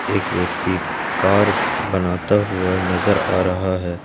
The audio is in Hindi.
एक व्यक्ति कार बनाता हुआ नजर आ रहा है।